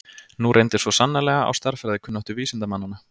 Nú reyndi svo sannarlega á stærðfræðikunnáttu vísindamannanna.